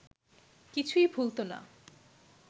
কিছুই ভুলত না